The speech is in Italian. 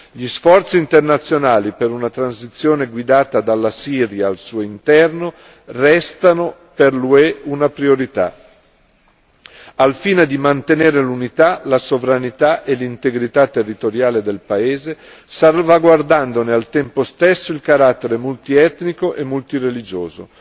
Gli sforzi internazionali per una transizione guidata dalla Siria al suo interno restano per l'UE una priorità, al fine di mantenere l'unità, la sovranità e l'integrità territoriale del paese salvaguardandone al tempo stesso il carattere multietnico e multireligioso.